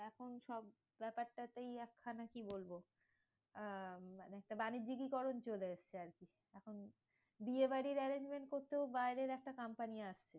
এখন সব ব্যাপারটাতেই একখানা কি বলবো? আহ একটা বাণিজ্যিকীকরণ চলে এসেছে আরকি। বিয়ে বাড়ির arrangement করতেও বাইরের একটা কোম্পানি আসছে।